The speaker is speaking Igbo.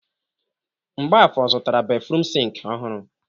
Mgbafor zụtara béfrụm sịnkị ọhụrụ.